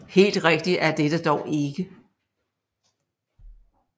Helt rigtigt er dette dog ikke